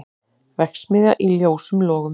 Verksmiðja í ljósum logum